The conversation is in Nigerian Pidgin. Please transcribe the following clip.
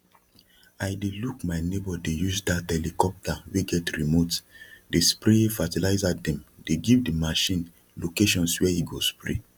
i dey look my neighbour dey use dt helicopter wey get remote dey spray fertilizerdem dey give the machine locations where e go spray